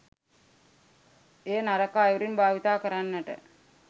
එය නරක අයුරින් භාවිතා කරන්නට